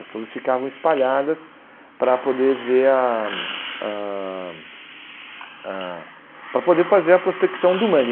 As torres ficavam espalhadas para poder ver a a a para poder fazer a prospecção do mangue.